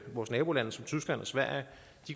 vores nabolande som tyskland og sverige